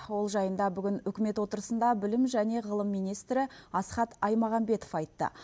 ол жайында бүгін үкімет отырысында білім және ғылым министрі асхат аймағамбетов айтты